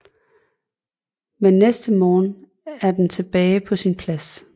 Men næste morgen er den tilbage på sin plads